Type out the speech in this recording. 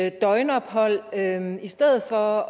et døgnophold i stedet for